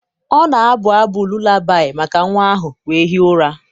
ọ na-abụ abụ lụlabi maka nwa ahụ wee hie ụra.